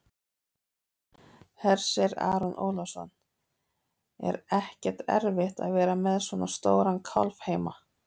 Hersir Aron Ólafsson: Er ekkert erfitt að vera með svona stóran kálf heima?